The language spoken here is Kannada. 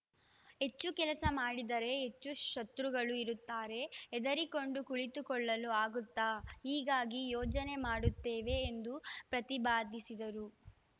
ಹೆಚ್ಚು ಕೆಲಸ ಮಾಡಿದರೆ ಹೆಚ್ಚು ಶತ್ರುಗಳು ಇರುತ್ತಾರೆ ಹೆದರಿಕೊಂಡು ಕುಳಿತುಕೊಳ್ಳಲು ಆಗುತ್ತಾ ಹೀಗಾಗಿ ಯೋಜನೆ ಮಾಡುತ್ತೇವೆ ಎಂದು ಪ್ರತಿಬಾದಿಸಿದರು